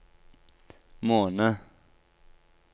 måned